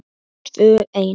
Tvö ein.